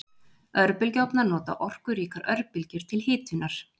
Örbylgjuofnar nota orkuríkar örbylgjur til hitunar.